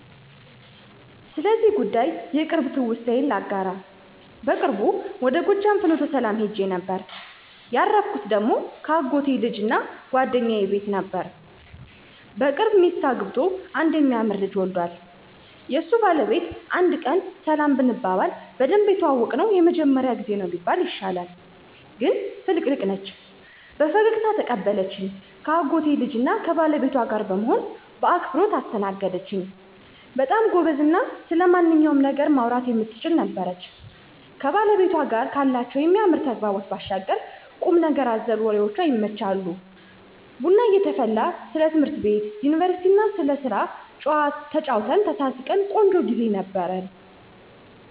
ስለዚህ ጉዳይ የቅርብ ትውስታዬን ላጋራ። በቅርቡ ወደ ጎጃም ፍኖተሰላም ሂጄ ነበር። ያረፍኩ ደግሞ ከአጎቴ ልጅና ጓደኛዬ ቤት ነበር። በቅርብ ሚስት አግብቶ አንድ የሚያምር ልጅ ዎልዷል። የሱ ባለቤት አንድ ቀን ሰላም ብንባባልም በደንብ የተዋወቅነው የመጀመሪያው ጊዜ ነው ቢባል ይሻላል። ግን ፍልቅልቅ ነች። በፈገግታ ተቀበለችኝ ከአጎቴ ልጅና ከባለቤቷ ጋር በመሆን በአክብሮት አስተናገደኝች። በጣም ጎበዝና ስለማንኛውም ነገር ማውራት የምትችል ነበረች። ከባለቤቷ ጋር ካላቸው የሚያምር ተግባቦት ባሻገር ቁምነገር አዘል ወሬዎቿ ይመቻሉ። ቡና እየተፈላ ስለ ትምህርት ቤት፣ ዩኒቨርስቲና ስለስራ ተጨዋወትን፣ ተሳሳቅን። ቆንጆ ግዜ ነበር።